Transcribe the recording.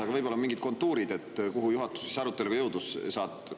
Aga võib-olla on mingid kontuurid,, kuhu juhatus aruteluga jõudis.